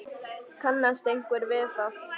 Kannast einhver við það?